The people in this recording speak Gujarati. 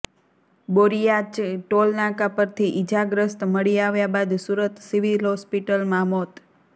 બોરીયાચ ટોલ નાકા પરથી ઇજાગ્રસ્ત મળી આવ્યા બાદ સુરત સિવિલ હોસ્પિટલમાં મોત